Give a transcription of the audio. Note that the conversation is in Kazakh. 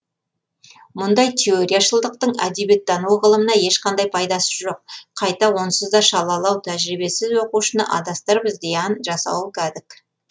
мұндай теорияшылдықтың әдебиеттану ғылымына ешқандай пайдасы жоқ қайта онсыз да шалалау тәжірибесіз оқушыны адастырып зиян жасауы кәдік